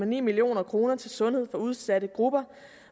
million kroner til sundhed for udsatte grupper